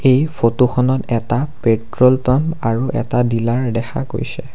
এই ফটোখনত এটা পেট্ৰল পাম্প আৰু এটা ডিলাৰ দেখা গৈছে।